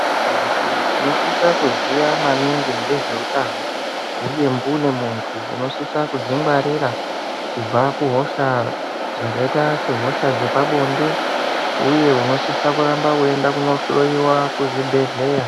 Antu tinosisa kuziya maningi ngezve utano, uye mbune muntu uno sisa kuzvingwarira kubva kuhosha dzakaita se hosha dzepabonde. Uye unosisa kuramba weyi enda kuno hloyiwa kuzvibhedhleya.